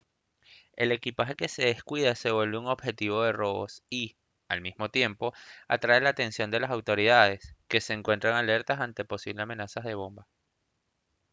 el equipaje que se descuida se vuelve un objetivo de robos y al mismo tiempo atrae la atención de las autoridades que se encuentran alertas ante posibles amenazas de bomba